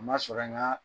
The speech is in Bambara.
A ma sɔrɔ n ka